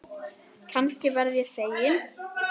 Kannski verð ég fegin.